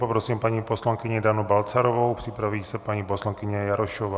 Poprosím paní poslankyni Danu Balcarovou, připraví se paní poslankyně Jarošová.